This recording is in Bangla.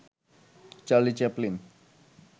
Charlie Chaplin